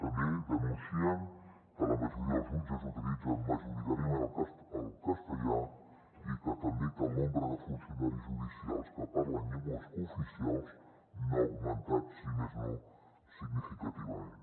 també denuncien que la majoria dels jutges utilitzen majoritàriament el castellà i també que el nombre de funcionaris judicials que parlen llengües cooficials no ha augmentat si més no significativament